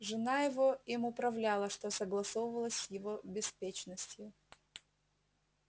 жена его им управляла что согласовалось с его беспечностью